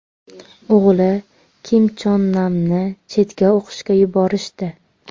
O‘g‘li Kim Chon Namni chetga o‘qishga yuborishdi.